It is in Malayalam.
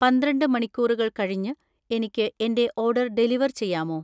പന്ത്രണ്ട് മണിക്കൂറുകൾ കഴിഞ്ഞ് എനിക്ക് എന്‍റെ ഓർഡർ ഡെലിവർ ചെയ്യാമോ?